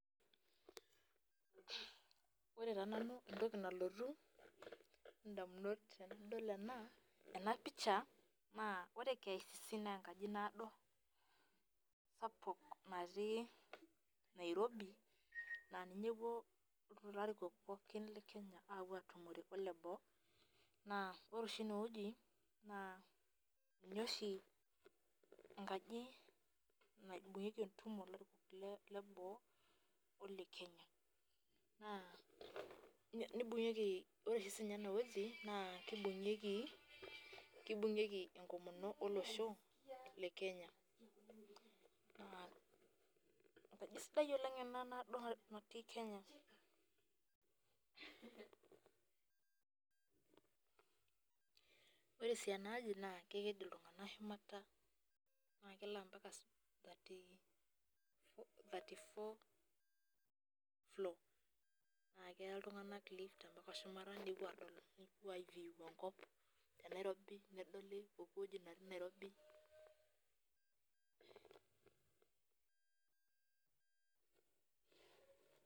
Ore taa nanu entoki nalotu indamunot tenadol ena enapisha, naa ore KICC naa enkaji naado sapuk natii Nairobi, naa ninye epuo ilarikok pookin le Kenya apuo atumore ole boo, naa ore oshi enewoji, naa ninye oshi enkaji naibung'ieki entumo ilarikok leboo o le Kenya. Naa nibung'ieki ore si nye enewoji naa kibung'ieki enkomono olosho, le Kenya. Enkaji sidai oleng ena naado natii Kenya. Ore si enaji naa keked iltung'anak shumata na kelo ampaka thirty four floor ,na keya iltung'anak lift ampaka shumata nepuo adol nepuo si view enkop te Nairobi, nedoli poki woji natii Nairobi.